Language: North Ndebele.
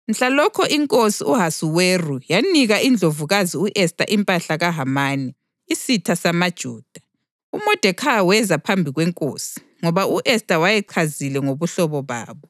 Mhlalokho inkosi u-Ahasuweru yanika iNdlovukazi u-Esta impahla kaHamani, isitha samaJuda. UModekhayi weza phambi kwenkosi, ngoba u-Esta wayesechazile ngobuhlobo babo.